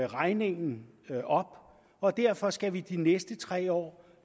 regningen op og derfor skal vi i de næste tre år